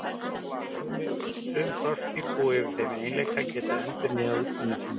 Sum froskdýr búa yfir þeim eiginleika að geta endurnýjað útlimi sína.